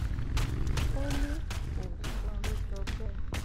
ó ní kò ní kò sóhun tó jọ bẹẹ